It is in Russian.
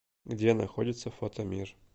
где находится фото мир